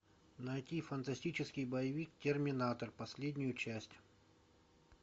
найти фантастический боевик терминатор последнюю часть